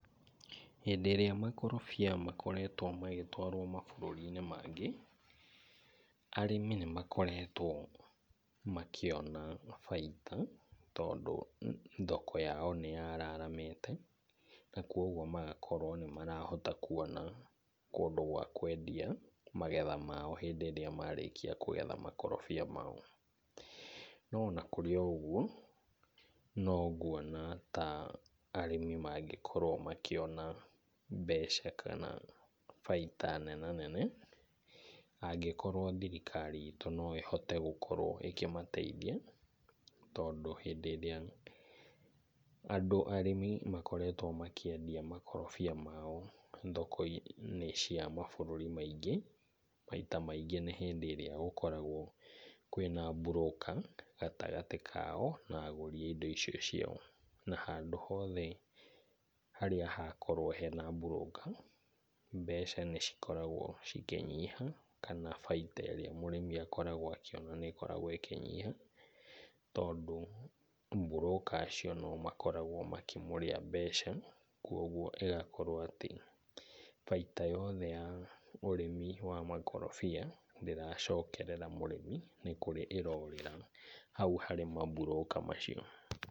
Hĩndĩ ĩrĩa makarobia makoretwo magĩtwarwo mabũrũri-inĩ mangĩ, arĩmi nĩ makoretwo makĩona baita tondũ thoko yao nĩ yararamĩte na kwoguo magakorwo nĩ marahota kuona kũndũ gwa kwendia magetha mao hĩndĩ ĩrĩa marĩkia kũgetha makorobia mao. No ona kũrĩ o ũguo no nguona ta arĩmi mangĩkorwo makĩona mbeca kana baita nenanene angĩkorwo thirikari ĩtũ no ihote gũkorwo ĩkĩmateithia. Tondũ hĩndĩ ĩrĩa andũ arĩmĩ makoretwo makĩendia makorobia mao thoko-inĩ cia mabũrũri maingĩ, maita maingĩ nĩ rĩrĩa gũkoragwo kwĩna broker gatagatĩ kao na agũri a indo icio ciao. Na handũ hothe harĩa hakoragwo hena broker mbeca nĩ cikoragwo cikĩnyiha kana baita ĩrĩa mũrĩmi akoragwo akĩona nĩ ĩkoragwo ĩkĩnyiha. Tondũ broker acio no o makoragwo makĩmũrĩa mbeca. Kwoguo ĩgakorwo atĩ baita yothe ya ũrĩmi wa makorobia ndĩracokerera mũrĩmi, nĩ kũrĩ ĩrorĩra hau harĩ ma broker macio.